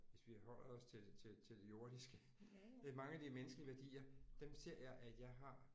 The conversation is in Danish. Hvis vi holder os til det til til det jordiske mange af de menneskelige værdier dem ser jeg at jeg har